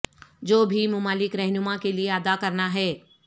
جو بھی مالک رہنما کے لئے ادا کرنا ہے